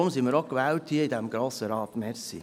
Deshalb wurden wir in diesen Grossen Rat gewählt.